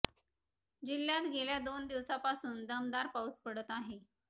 जिल्हय़ात गेल्या दोन दिवसांपासून दमदार पाऊस पडत आहे